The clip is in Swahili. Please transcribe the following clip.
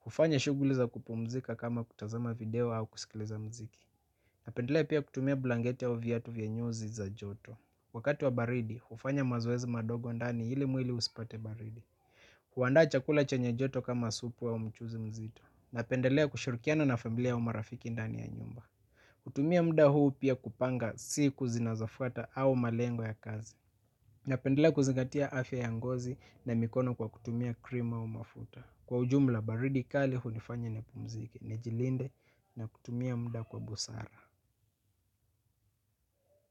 Kufanya shughuliza kupumzika kama kutazama video au kusikiliza mziki. Napendelea pia kutumia blankete au viatu vya nyuzi za joto. Wakati wa baridi, ufanya mazoezi madogo ndani ili mwili usipate baridi. Kuandaa chakula chenye joto kama supu au mchuzi mzito. Napendelea kushurikiana na familia umarafiki ndani ya nyumba. Kutumia muda huu pia kupanga siku zinazofata au malengo ya kazi. Napendelea kuzingatia afya yangozi na mikono kwa kutumia krimu au mafuta. Kwa ujumla, baridi kali hunifanya nipumzike, nijilinde na kutumia muda kwa busara.